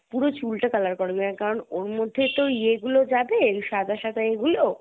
পুরো চুল টা color করে নেই কারণ ওর মধ্যেই তো ইয়ে গুলো যাবে সাদা সাদা ইয়ে গুলো